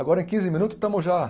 Agora em quinze minutos estamos já.